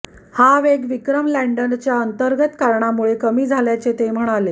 हा वेग विक्रम लॅंडरच्या अंतर्गत कारणामुळे कमी झाल्याचे ते म्हणाले